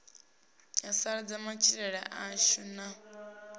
ya sasaladza matshilele ashu na